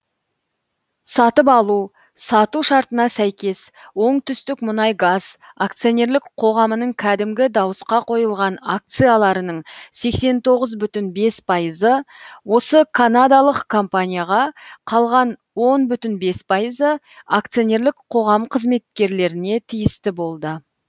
сатып алу сату шартына сәйкес оңтүстік мұнайгаз акционерлік қоғамның кәдімгі дауысқа қойылған акцияларының сексен тоғыз бүтін бес пайызы осы канадалық компанияға қалған он бүтін бес пайызы акционерлік қоғам қызметкерлеріне тиісті болды